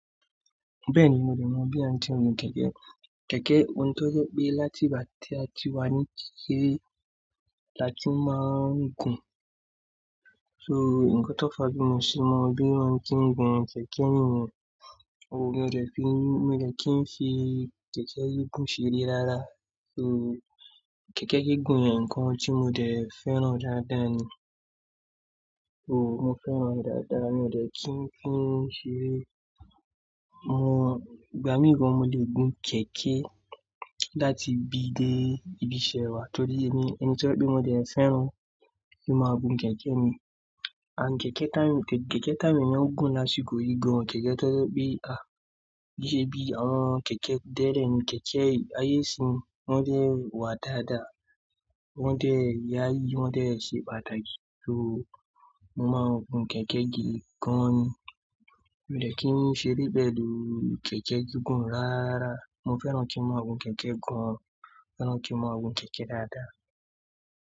Bẹ́ẹ̀ni, mo dẹ̀ mọ bí a ń ti ń gun kẹ̀kẹ́. Kẹ̀kẹ́ ohun tó jẹ́ pé láti ìgbà tí a ti wà ní kikere láti máa ń gun. So nǹkan tó fà bí mo ṣe mọ bí a ń kí ń gun ṣèké ẹni ni ye. Mo dẹ̀ fi, mo dẹ̀ kí ń fi kẹ̀kẹ́ yìí gùn ṣeré lára. So kẹ̀kẹ́ kìí gùn ni ǹkan tí mo dẹ̀ fẹ́ràn dáadáa ni. So mo fẹ́ràn dáadáa mo dẹ̀ kí ń fi ń ṣeré. Mo, ìgbà mì gan mo lè gun kẹ̀kẹ́ láti bi dé ibi iṣẹ́ wá torí ẹni, ẹni tó jẹ́ pé mo dẹ̀ fẹ́ràn kí máa gun kẹ̀kẹ́ mi. And kẹ̀kẹ́ tán, kẹ̀kẹ́ táwon èèyan n gùn lásìkò yìí gan. Kẹ̀kẹ́ tó jẹ́ pé a, kí i ṣe bí àwọn kẹ̀kẹ́ tẹ́lẹ́ ni, kẹ̀kẹ́ ayé ìsín wọ́n dẹ̀ wà dáadáa, wọ́n dẹ̀ yayi, wọ́n dẹ̀ ṣe pàtàkì. So mo máa ń gun kẹ̀kẹ́ gidi gan ni. Mio dẹ̀ kí ń ṣeré pẹ̀lú kẹ̀kẹ́ gígùn rararára. Mo fẹ́ràn kí n máa gun kẹ̀kẹ́ gan. Mo fẹ́ràn kí n máa gun kẹ̀kẹ́ dáadáa.